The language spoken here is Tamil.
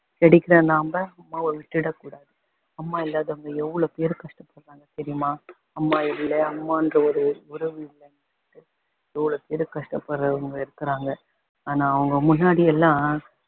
கிடைக்குற நம்ம அம்மாவ விட்டுடக்கூடாது அம்மா இல்லாதவங்க எவ்வளோ பேரு கஷ்டப்படறாங்க தெரியுமா அம்மா இல்லை அம்மான்ற ஒரு உறவு இல்லைன்னு எவ்வ்ஃளோ பேரு கஷ்டப்படறவங்க இருக்குறாங்க ஆனா அவங்க முன்னாடியெல்லாம்